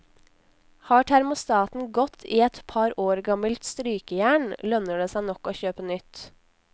Har termostaten gått i et par år gammelt strykejern, lønner det seg nok å kjøpe nytt.